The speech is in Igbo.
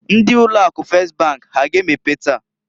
Ndi ụlọ akụ Fes bank ha a ga emepe taa?